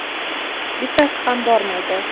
Bittasi ham bormaydi!